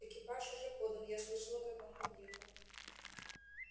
экипаж уже подан я слышала как он подъехал